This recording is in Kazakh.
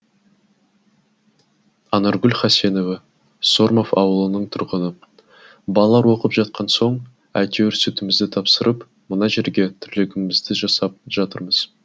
анаргүл хасенова сормов ауылының тұрғыны балалар оқып жатқан соң әйтеуір сүтімізді тапсырып мына жерде тірлігімізді жасап жатырмыз